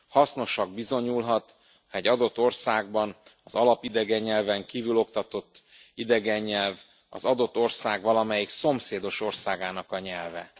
Hasznosnak bizonyulhat, ha egy adott országban az alap idegen nyelven kívül oktatott idegen nyelv az adott ország valamelyik szomszédos országának a nyelve.